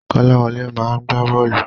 Kọ́láwọlé máa gbá bọ́ọ̀lù.